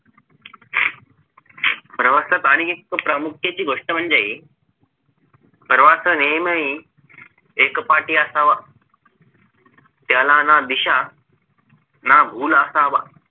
प्रवासात आणि एक प्रामुख्याची गोष्ट म्हणजे प्रवास हा नेहमी एकपाठी असावा त्याला ना दिशा ना असावा